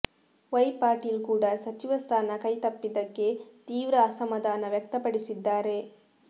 Y Patil ಕೂಡ ಸಚಿವ ಸ್ಥಾನ ಕೈತಪ್ಪಿದ್ದಕ್ಕೆ ತೀವ್ರ ಅಸಮಾಧಾನ ವ್ಯಕ್ತಪಡಿಸಿದ್ದಾರೆ